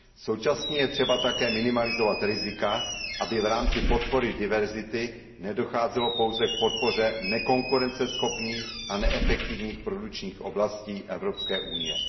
Současně je třeba také minimalizovat rizika, aby v rámci podpory diverzity nedocházelo pouze k podpoře nekonkurenceschopných a neefektivních produkčních oblastí Evropské unie.